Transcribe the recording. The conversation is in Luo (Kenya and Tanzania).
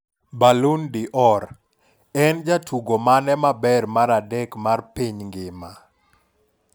Ballon d'Or: En jatugo mane maber mar adek mar piny ngima?